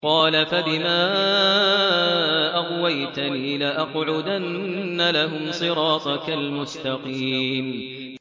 قَالَ فَبِمَا أَغْوَيْتَنِي لَأَقْعُدَنَّ لَهُمْ صِرَاطَكَ الْمُسْتَقِيمَ